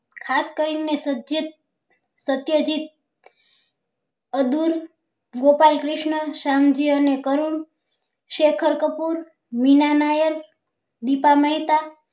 ખાસ કરી ને સત્ય જીત અદુર્વ ગોપાલ કૃષ્ણ શ્યામ જી અને કરુણ શેખર કપૂર વિના નાયક દીપા મહેતા